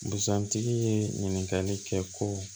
Busan tigi ye ɲininkali kɛ ko